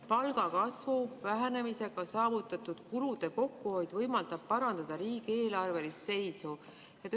Palgakasvu vähenemisega saavutatud kulude kokkuhoid võimaldab parandada riigieelarve seisu.